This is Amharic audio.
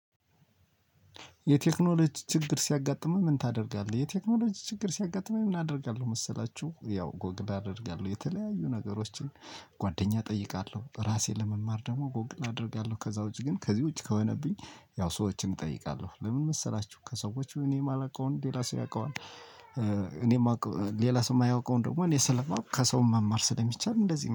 የቴክኖሎጂ ችግር ሲያጋጥመህ ምን ታደርጋለህ? የቴክኖሎጂ ችግር ሲያጋጥመኝ ምን አደርጋለሁ መሰላችሁ? ያው ጎግል አደርጋለሁ የተለያዩ ነገሮችን ጓደኛ እጠይቃለሁ ራሴን ለመማር ደግሞ ጎግል አደርጋለሁ። ከዛ ውጪ ግን ከዚህ ውጪ ከሆነብኝ ያው ሰዎችን እጠይቃለሁ። ለምን መሰላችሁ ከሰዎች እኔ የማላውቀውን ሌላ ሰው ያውቀዋል። እኔ የማውቀው ሌላ ሰው የማያውቀውን ደግሞ እኔ ስለማውቅ ከሰው መማር ስለሚቻል እንደዚህ